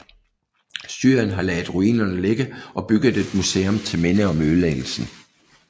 Syrien har ladet ruinerne ligge og bygget et museum til minde om ødelæggelsen